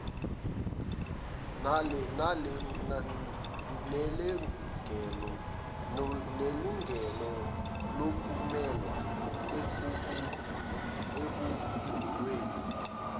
nelungelo lokumelwa ekucubungulweni